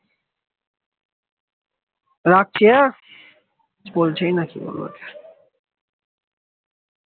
রাখিয়া বলছি নাকি